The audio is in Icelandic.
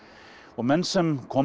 menn sem koma